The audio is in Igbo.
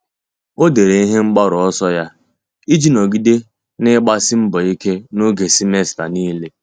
Ọ́ dèrè ihe mgbaru ọsọ ya iji nọ́gídé n’ị́gbàsí mbọ ike n’ógè semester niile.